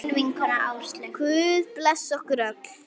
Guð blessi okkur öll.